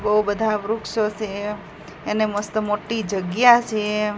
બો બધા વૃક્ષો સે અને મસ્ત મોટી જગ્યા છે.